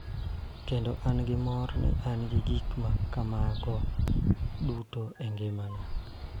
Kendo an gi mor ni an gi gik ma kamago duto e ngimana.